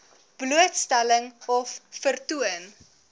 blootstelling of vertoon